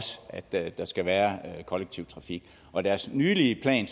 sagt at der skal være k ollektiv trafik og i deres nylige plan